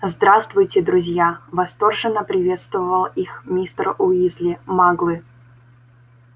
здравствуйте друзья восторженно приветствовал их мистер уизли маглы